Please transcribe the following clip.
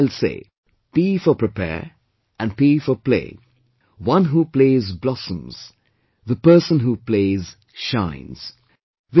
And hence I will say, "P for prepare and P for play', one who plays blossoms, the person who plays, shines